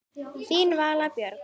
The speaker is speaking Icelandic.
Þín Vala Björg.